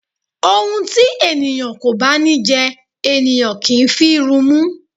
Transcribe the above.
Ohun tí ènìyàn kò bá ní jẹ, ènìyàn kì í fi rumú.